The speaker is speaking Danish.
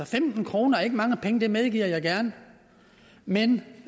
femten kroner er ikke mange penge det medgiver jeg gerne men